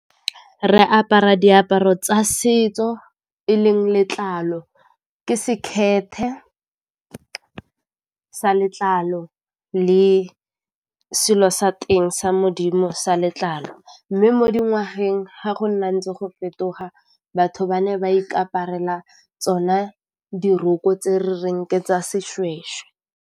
Re apara diaparo tsa setso e leng letlalo ke sekhethe sa letlalo le selo sa teng sa modimo sa letlalo. Mme mo dingwageng ga go nna ntse go fetoga batho ba ne ba ikaparela tsone diroko tse re reng ke tsa Sešwešwe.